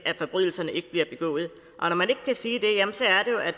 at forbrydelserne ikke bliver begået og når man ikke kan sige